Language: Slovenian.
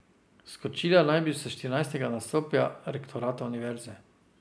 Skočila naj bi s štirinajstega nadstropja rektorata univerze.